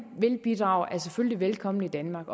bidrage selvfølgelig er velkomne i danmark